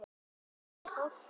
Hvað er hún að forsmá?